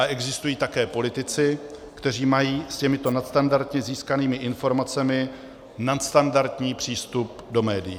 A existují také politici, kteří mají s těmito nadstandardně získanými informacemi nadstandardní přístup do médií.